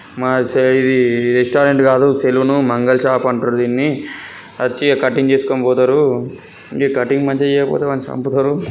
మశాయి ఇది రెస్టారెంట్ గాదు సలూన్ మంగళ్ షాప్ అంటురు దిన్ని. వచ్చి కటింగ్ జేసుకొనిపోతారు ఈ కటింగ్ మంచిగా జేయకపోతే వాడ్ని సంపూతరు. ]